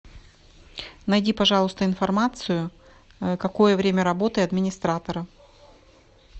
найди пожалуйста информацию какое время работы администратора